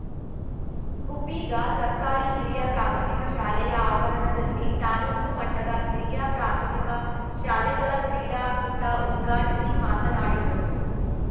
ಗುಬ್ಬಿಗಾ ಸರ್ಕಾರಿ ಹಿರಿಯ ಪ್ರಾಥಮಿಕ ಶಾಲೆಯ ಆವರಣದಲ್ಲಿ ತಾಲೂಕು ಮಟ್ಟದ ಹಿರಿಯ ಪ್ರಾಥಮಿಕ ಶಾಲೆಗಳ ಕ್ರೀಡಾಕೂಟ ಉದ್ಘಾಟಿಸಿ ಮಾತನಾಡಿದರು